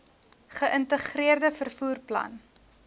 geïntegreerde vervoer plan